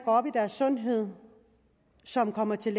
op i deres sundhed som kommer til